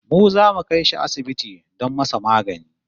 Mu zamu kai shi asibiti don masa magani